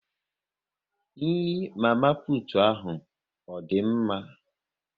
Nri mama putu ahu ọ dị mma?